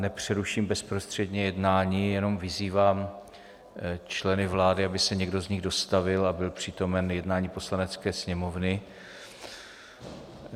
Nepřeruším bezprostředně jednání, jenom vyzývám členy vlády, aby se někdo z nich dostavil a byl přítomen jednání Poslanecké sněmovny.